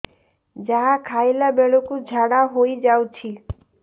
ଯାହା ଖାଇଲା ବେଳକୁ ଝାଡ଼ା ହୋଇ ଯାଉଛି